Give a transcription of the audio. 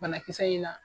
Banakisɛ in na